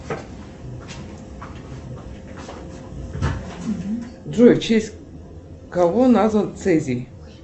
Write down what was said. джой в честь кого назван цезий